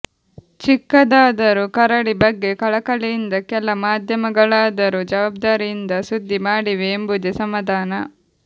ಚಿಕ್ಕದಾದರೂ ಕರಡಿ ಬಗ್ಗೆ ಕಳಕಳಿಯಿಂದ ಕೆಲ ಮಾಧ್ಯಮಗಳಾದರೂ ಜವಾಬ್ದಾರಿಯಿಂದ ಸುದ್ದಿ ಮಾಡಿವೆ ಎಂಬುದೇ ಸಮಾಧಾನ